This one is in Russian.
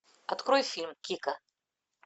открой фильм кика